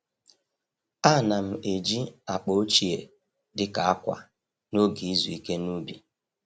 A na'm eji akpa ochie dị ka akwa n’oge izu ike n’ubi.